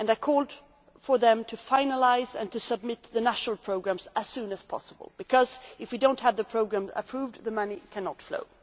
I called on them to finalise and submit their national programmes as soon as possible, because if we do not have the programmes approved the money cannot flow.